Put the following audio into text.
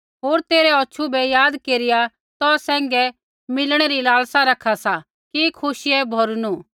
होर तेरै औछू बै याद केरिया तौ सैंघै मिलणै री लालसा रखा सा कि खुशियै भौरिनू